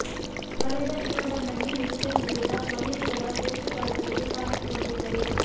ಕಳೆದ ಡಿಸೆಂಬರ್ನಲ್ಲಿ ನ್ಯೂಜಿಲಂಡ್ ವಿರುದ್ಧ ಕೊನೆಂುು ಸಲ ಟೆಸ್ಟ್ ತಂಡದಲ್ಲಿ ಕಾಣಿಸಿಕೊಂಡಿದ್ದರು